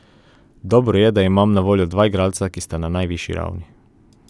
Dobro je, da imam na voljo dva igralca, ki sta na najvišji ravni.